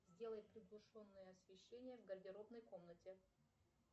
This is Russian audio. сделай приглушенное освещение в гардеробной комнате